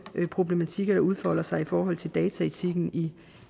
problematikker der udfolder sig i forhold til dataetikken i